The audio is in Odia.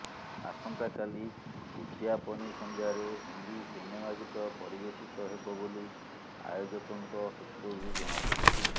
ଆସନ୍ତାକାଲି ଉଦ୍ଯାପନୀ ସନ୍ଧ୍ୟାରେ ହିନ୍ଦୀ ସିନେମା ଗୀତ ପରିବେଷିତ ହେବ ବୋଲି ଆୟୋଜକଙ୍କ ସୂତ୍ରରୁ ଜଣା ପଡ଼ିଛି